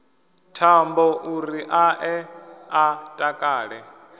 thambouri a ḓe a takale